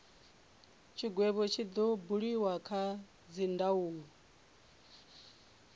tshigwevho tshi do buliwa kha dzindaulo